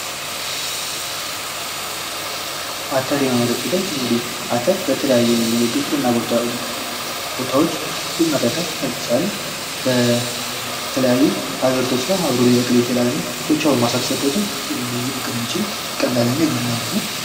አተር የማምረት ሂደት አተር እንግዲህ በተለያዩ የግብርና ቦታዎች የይመረታል ለምሳሌ በተለያዩ አዘርቶች ጋር አብሮ ሊበቅል ይችላል።